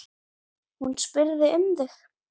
Hún spurði um þig.